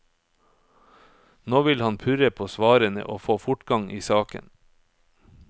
Nå vil hun purre på svarene og få fortgang i saken.